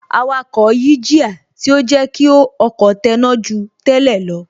Awakọ̀ yí jíà, tí ó jẹ́ kí ọkọ̀ tẹná ju tẹ́lẹ̀ lọ